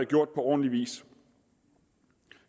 gjort på ordentlig vis